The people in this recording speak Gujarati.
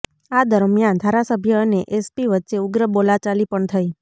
આ દરમિયાન ધારાસભ્ય અને એસપી વચ્ચે ઉગ્ર બોલાચાલી પણ થઈ